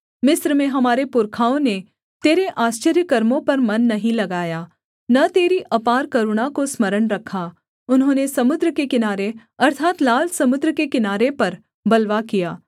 मिस्र में हमारे पुरखाओं ने तेरे आश्चर्यकर्मों पर मन नहीं लगाया न तेरी अपार करुणा को स्मरण रखा उन्होंने समुद्र के किनारे अर्थात् लाल समुद्र के किनारे पर बलवा किया